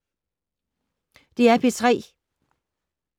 DR P3